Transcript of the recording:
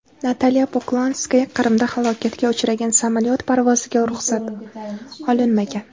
Natalya Poklonskaya: Qrimda halokatga uchragan samolyot parvoziga ruxsat olinmagan.